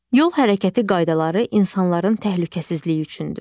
Yol hərəkəti qaydaları insanların təhlükəsizliyi üçündür.